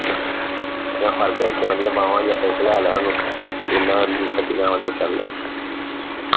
ਮੈਂ ਫੜ ਕੇ ਰੱਖੀਆਂ ਓਹਦੀਆਂ ਬਾਹਾਂ ਲੈ ਲਿਆ ਓਹਨੂੰ ਛਡਿਆ ਓਹਦੇ ਚੱਲ